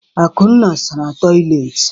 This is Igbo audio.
Akunna sara toịletị.